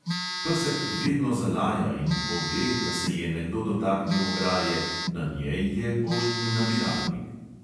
Pesek vedno zalaja in "pove", da se je nekdo dotaknil ograje, na njej je poštni nabiralnik.